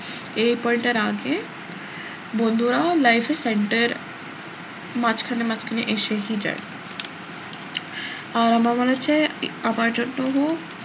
এই point টার আগে বন্ধুরা life এ center মাঝখানে মাঝখানে এসেহি যায় আর আমার মনে হচ্ছে আমার জন্য